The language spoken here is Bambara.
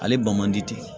Ale ban man di